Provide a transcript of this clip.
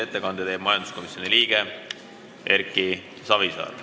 Ettekande teeb majanduskomisjoni liige Erki Savisaar.